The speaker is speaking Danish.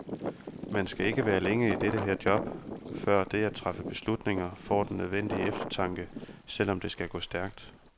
Man skal ikke være længe i dette her job, før det at træffe beslutninger, får den nødvendige eftertanke, selv om det skal gå stærkt.